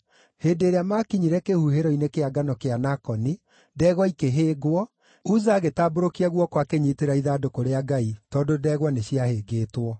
Hĩndĩ ĩrĩa maakinyire kĩhuhĩro-inĩ kĩa ngano kĩa Nakoni, ndegwa ikĩhĩngwo, Uza agĩtambũrũkia guoko akanyiitĩrĩra ithandũkũ rĩa Ngai tondũ ndegwa nĩ ciahĩngĩtwo.